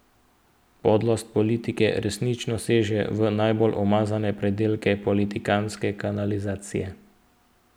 Podlost politike resnično seže v najbolj umazane predele politikantske kanalizacije.